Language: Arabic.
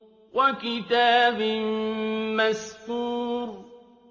وَكِتَابٍ مَّسْطُورٍ